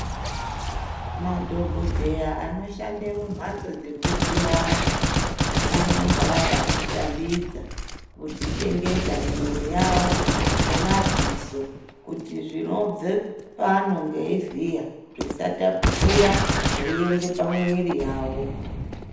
Madhokodheya anoshande mumhatso dzekuvhiya antu anonga akadzishambidza kudzichengeta mwiiri yawo ngemadziso kuti zvinobve paanenge eivhiya zvisatapukira zveienda pamwiiri yawo .